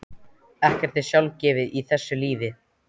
Ekkert er sjálfgefið í þessu lífi.